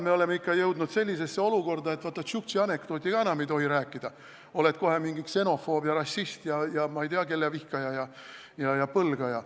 Me oleme jõudnud sellisesse olukorda, et vaat et tšuktši anekdooti ei tohi ka enam rääkida, oled kohe mingi ksenofoob ja rassist ja ei tea, kelle vihkaja ja põlgaja.